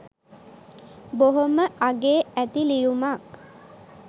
බොහොම අගේ ඇති ලියුමක්.